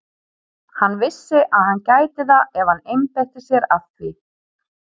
Hann vissi að hann gæti það ef hann einbeitti sér að því.